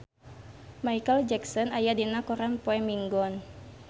Micheal Jackson aya dina koran poe Minggon